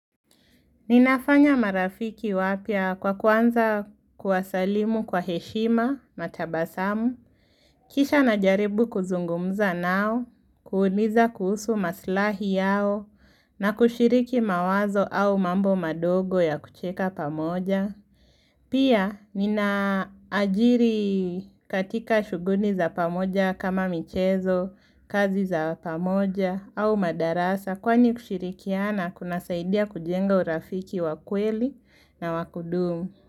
Ninafanya marafiki wapya kwa kwanza kuwasalimu kwa heshima na tabasamu. Kisha najaribu kuzungumza nao, kuuliza kuhusu maslahi yao na kushiriki mawazo au mambo madogo ya kucheka pamoja. Pia ninaajiri katika shuguli za pamoja kama michezo, kazi za pamoja au madarasa Kwani kushirikiana kunasaidia kujenga urafiki wakweli na wakudumu.